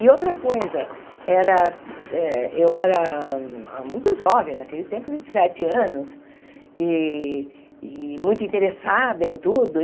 E outra coisa, era eu era muito jovem naquele tempo, vinte e sete anos, e e muito interessada em tudo.